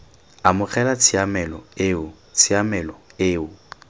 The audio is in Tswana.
amogela tshiamelo eo tshiamelo eo